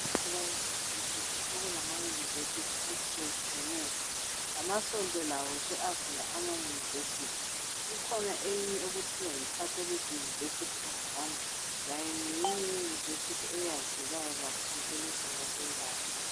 Abaye university, sekulama University atshiye tshiyeneyo. Lamasonto lawo se-avula ama-university. Ikhona eyinye okuthiwa yi Catholic University of Rwanda. Layo ngeyinye ye university eyaziwayo elizweni lase Rwanda.